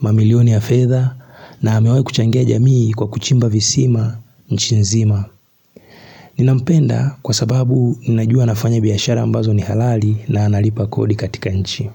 mamilioni ya fedha na amewahi kuchangia jamii kwa kuchimba visima, nchi nzima Ninampenda kwa sababu ninajua anafanya biashara ambazo ni halali na analipa kodi katika nchi.